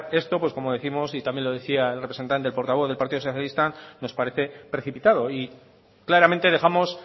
esto pues como décimos y también lo decía el portavoz del partido socialista nos parece precipitado y claramente dejamos